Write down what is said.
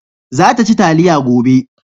za ta ci taliya gobe